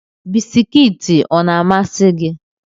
Bisikiiti ọ na-amasị gị?